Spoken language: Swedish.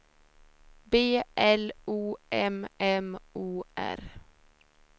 B L O M M O R